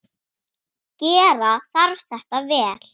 Gera þarf þetta vel.